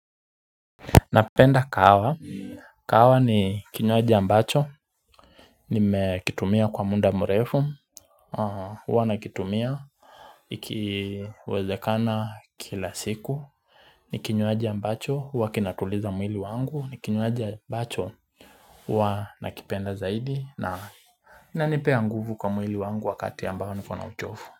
Napenda kawa, kawa ni kinyoaji ambacho Nimekitumia kwa munda mrefu Uwa nakitumia Ikiwezekana kila siku Nikinyoaji ambacho, uwa kinatuliza mwili wangu, nikinyoaji ambacho Uwa nakipenda zaidi na na inipea nguvu kwa mwili wangu wakati ambayo niko na uchofu.